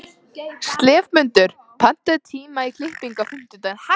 slefmundur, pantaðu tíma í klippingu á fimmtudaginn.